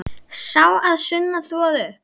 Sá að sunnan þvoði upp.